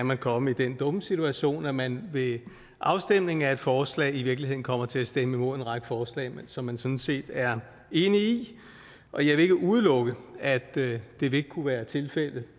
man komme i den dumme situation at man ved afstemningen om et forslag i virkeligheden kommer til at stemme imod en række forslag som man sådan set er enig i og jeg vil ikke udelukke at det vil kunne være tilfældet